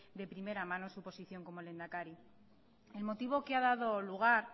de primera mano su posición como lehendakari el motivo que ha dado lugar